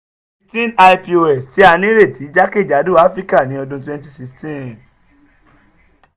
teen ipos ti a nireti jakejado afirika ni ọdun twenty sixteen